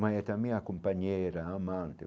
Mas é também a companheira a amante.